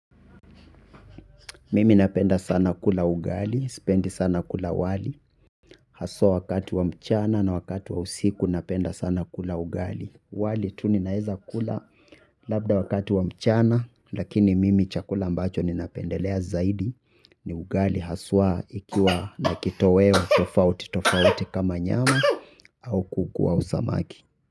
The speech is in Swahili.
Mimi napenda sana kula ugali, spendi sana kula wali. Haswa wakati wa mchana na wakati wa usiku napenda sana kula ugali. Wali tu ninaeza kula labda wakati wa mchana. Lakini mimi chakula ambacho ninapendelea zaidi ni ugali haswa ikiwa na kitoweo tofauti tofauti kama nyama au kuku au samaki.